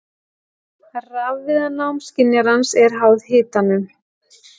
Rafviðnám skynjarans er háð hitanum.